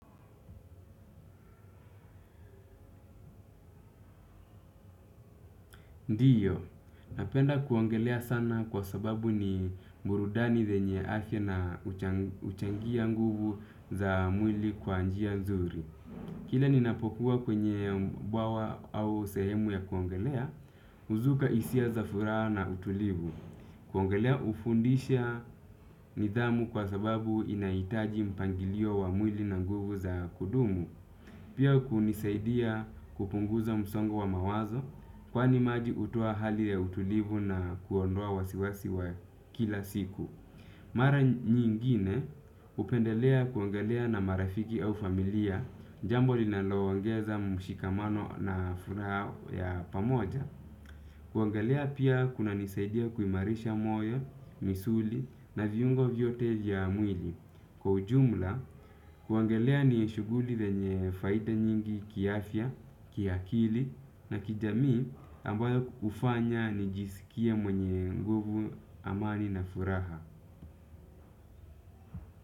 Ndiyo, napenda kuogelea sana kwa sababu ni burudani yenye afya na uchangia nguvu za mwili kwa njia nzuri. Kile ninapokuwa kwenye mbawa au sehemu ya kuongelea, huzuka hisia za furaha na utulivu. Kuaogelea ufundisha nidhamu kwa sababu inahitaji mpangilio wa mwili na nguvu za kudumu. Pia kunisaidia kupunguza msongo wa mawazo kwani maji hutuo hali ya utulivu na kuondoa wasiwasi wa kila siku. Mara nyingine upendelea kuongelea na marafiki au familia jambo linalo ongeza mshikamano na furaha ya pamoja. Kuongelea pia kuna nisaidia kuimarisha moyo, misuli na viyungo vyote ya mwili. Kwa ujumla, kuongelea ni shuguli lenye faida nyingi kiafya, kiakili na kijamii ambayo ufanya nijisikia mwenye nguvu amani na furaha.